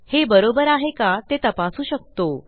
हे बरोबर आहे का ते तपासू शकतो